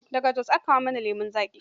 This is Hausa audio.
Daga Jos ake kawo mana lemon zaƙi.